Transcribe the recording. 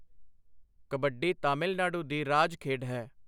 ਕਬੱਡੀ ਤਾਮਿਲਨਾਡੂ ਦੀ ਰਾਜ ਖੇਡ ਹੈ।